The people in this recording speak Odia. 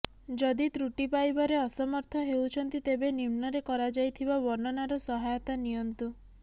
ଯଦି ତ୍ରୁଟି ପାଇବାରେ ଅସମର୍ଥ ହେଉଛନ୍ତି ତେବେ ନିମ୍ନରେ କରାଯାଇଥିବା ବର୍ଣ୍ଣନାର ସହାୟତା ନିଅନ୍ତୁ